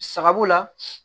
Sababu la